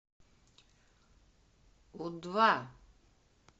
у два